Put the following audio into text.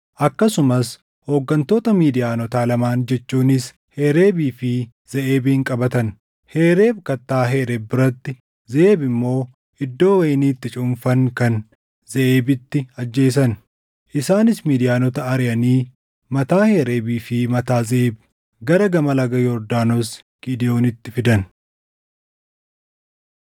Akkasumas hooggantoota Midiyaanotaa lamaan jechuunis Hereebii fi Zeʼeebin qabatan. Hereeb kattaa Hereeb biratti Zeʼeeb immoo iddoo wayinii itti cuunfan kan Zeʼeebiitti ajjeesan. Isaanis Midiyaanota ariʼanii mataa Hereebii fi mataa Zeʼeeb gara gama laga Yordaanos Gidewoonitti fidan.